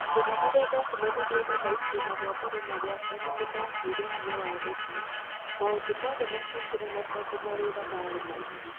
mathĩna marĩa ndacemanirie namo itĩna rĩa mbere na rĩa kerĩ nĩmaheire hinya wa gũthiĩ, maũndũ mothe makĩingĩrana tondũ mawĩra marĩ maingĩ